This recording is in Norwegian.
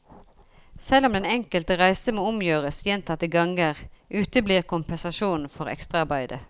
Selv om den enkelte reise må omgjøres gjentatte ganger, uteblir kompensasjon for ekstraarbeidet.